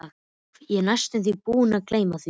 Úff, ég var næstum því búinn að gleyma því.